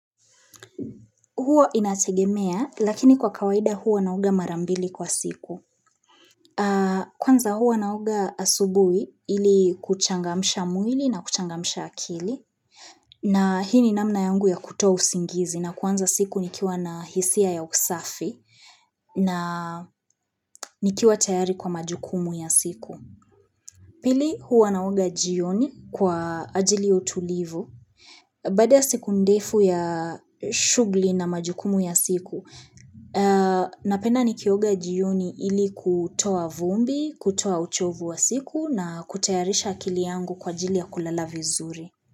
Huo inategemea, lakini kwa kawaida huo nauga mara mbili kwa siku. Kwanza hua naoga asubuhi ili kuchangamsha mwili na kuchangamsha akili. Na hii ni namna yangu ya kutoa usingizi na kuanza siku nikiwa na hisia ya usafi na nikiwa tayari kwa majukumu ya siku. Pili hua naoga jioni kwa ajili ya utulivu. Bada siku ndefu ya shugli na majukumu ya siku, napenda nikioga jioni ili kutoa vumbi, kutoa uchovu wa siku na kutayarisha akili yangu kwa ajili ya kulala vizuri.